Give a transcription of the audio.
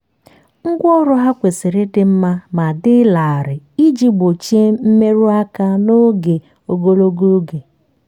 ngwa ọrụ ha kwesiri ịdị mma ma dị larịị iji gbochie mmerụ aka n'oge ogologo oge.